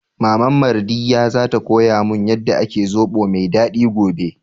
Maman Mardiyya za ta koya mun yanda ake zobo mai daɗi gobe